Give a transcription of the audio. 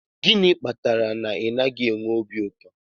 Gịnị kpatara na ị naghị enwe obi ụtọ?